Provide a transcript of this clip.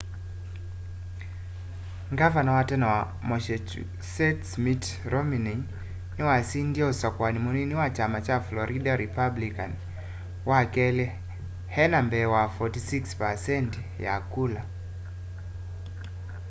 gavana wa tene wa massachusetts mitt romney niwasindie usakuani munini wa kyama kya florida republican wakeli enda mbee wa 46 percenti ya kula